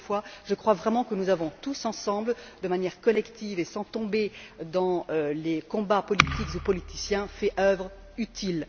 Encore une fois, je crois vraiment que nous avons, tous ensemble, de manière collective et sans tomber dans les combats politiques ou politiciens, fait œuvre utile.